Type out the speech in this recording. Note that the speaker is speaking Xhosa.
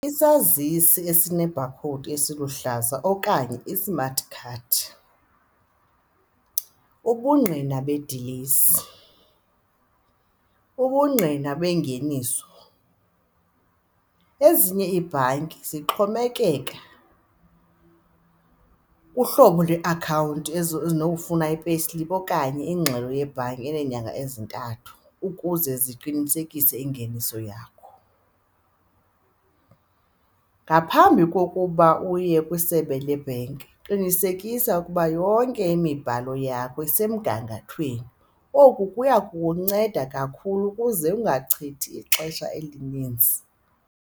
Isazisi esine-bar code esiluhlaza okanye i-smart card, ubungqina bedilesi, ubungqina bengeniso. Ezinye iibhanki zixhomekeka kuhlobo lweakhawunti ezinokufuna i-payslip okanye ingxelo yebhanki eneenyanga ezintathu ukuze ziqinisekise ingeniso yakho. Ngaphambi kokuba uye kwisebe lebhenki qinisekisa ukuba yonke imibhalo yakho isemgangathweni, oku kuya kukunceda kakhulu ukuze ungachithi ixesha elinintsi.